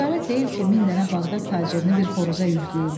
Ticarət deyil ki, min dənə Bağdad tacirini bir xoruza yükləyim.